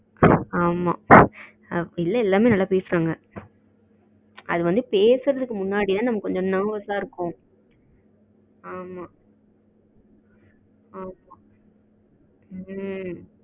ஆமா இல்ல எல்லாமே நல்லா பேசுறாங்க அது வந்து பேசுறதுக்கு முன்னாடிதான் நமக்கு கொஞ்சம் nervous அஹ இருக்கும். ஆமா ம்ம்